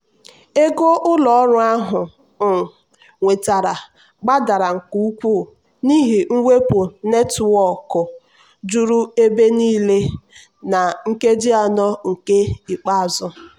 ego ụlọ ọrụ ahụ um nwetara gbadara nke ukwuu n'ihi mwepu netwọkụ juru ebe niile na nkeji anọ nke ikpeazụ.